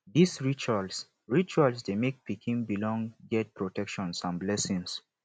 these rituals rituals de make pikin belong get protection and blessings